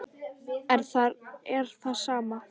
En þar er það sama.